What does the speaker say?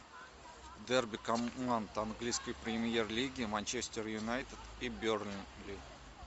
дерби команд английской премьер лиги манчестер юнайтед и бернли